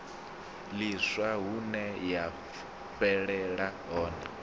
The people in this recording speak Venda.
ḽiswa hune ya fhelela hone